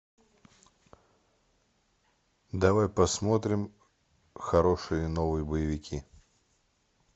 давай посмотрим хорошие новые боевики